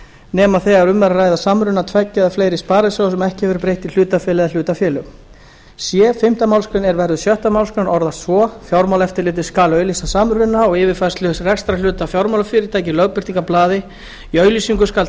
nema þegar um er að ræða samruna tveggja eða fleiri sparisjóða sem ekki hefur verið breytt í hlutafélag eða hlutafélög c fimmtu málsgrein er verður sjöttu málsgrein orðast svo fjármálaeftirlitið skal auglýsa samruna og yfirfærslu rekstrarhluta fjármálafyrirtækja í lögbirtingablaði í auglýsingu skal